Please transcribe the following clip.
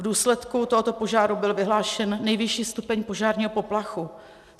V důsledku tohoto požáru byl vyhlášen nejvyšší stupeň požárního poplachu.